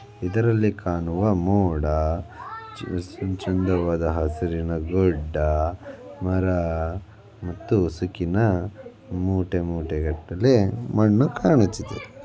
ಇದರಲ್ಲಿ ಕಾಣುವ ಮೋಡಾ ಚ್-ಚ್-ಚಂದವಾದ ಹಸಿರಿನ ಗುಡ್ಡಾ ಮರಾ ಮತ್ತು ಮೂಟೆ ಮೂಟೆ ಗಟ್ಟಲೇ ಮಣ್ಣು ಕಾಣಿಚಿದೆ .